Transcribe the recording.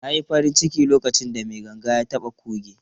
Na yi farin ciki lokacin da mai ganga ya taɓa kuge.